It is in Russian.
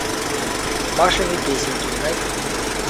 машины песенки найти